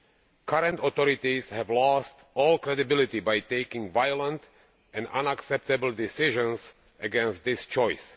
The current authorities have lost all credibility by taking violent and unacceptable decisions against this choice.